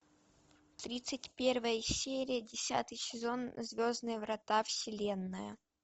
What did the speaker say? тридцать первая серия десятый сезон звездные врата вселенная